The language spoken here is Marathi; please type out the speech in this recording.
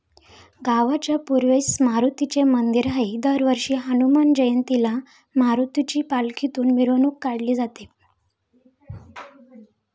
गावाच्या पूर्वेस मारुतीचे मंदिर आहे, दरवर्षी हनुमान जयंतीला मारुतीची पालखीतून मिरवणूक काढली जाते.